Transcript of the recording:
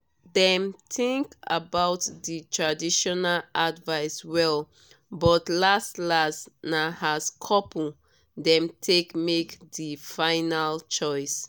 dem think about di traditional advice well but las-las na as couple dem take make di final choice.